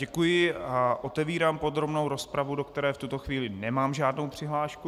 Děkuji a otevírám podrobnou rozpravu, do které v tuto chvíli nemám žádnou přihlášku.